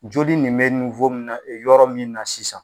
Joli nin bɛ yɔrɔ min na sisan.